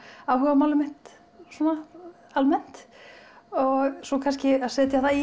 áhugamálið mitt og svo kannski að setja það í